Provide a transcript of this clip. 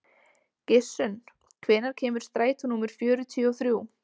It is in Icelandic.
Gissunn, hvenær kemur strætó númer fjörutíu og þrjú?